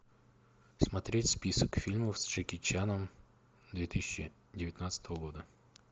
смотреть список фильмов с джеки чаном две тысячи девятнадцатого года